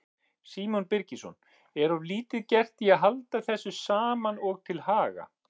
Símon Birgisson: Er of lítið gert í að halda þessu saman og til haga?